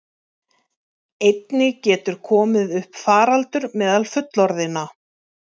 Einnig getur komið upp faraldur meðal fullorðinna.